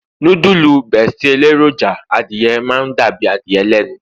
nudulu besti eleroja adìye ma n dàbí adìye lẹnu